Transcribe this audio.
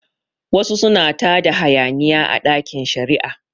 Wasu suna tada hayaniya a ɗakin shari'a